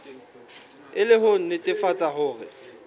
e le ho nnetefatsa hore